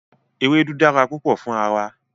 Ewedu dara pupo fun ara wa